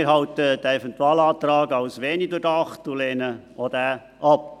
Wir halten den Eventualantrag für wenig durchdacht und lehnen auch diesen ab.